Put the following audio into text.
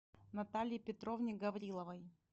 наталье петровне гавриловой